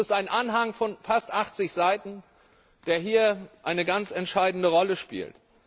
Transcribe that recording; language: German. Es ist ein Anhang von fast 80Seiten, der hier eine ganz entscheidende Rolle spielt.